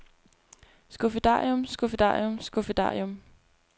skuffedarium skuffedarium skuffedarium